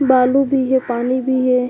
बालू भी हे पानी भी हे।